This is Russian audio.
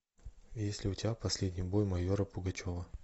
есть ли у тебя последний бой майора пугачева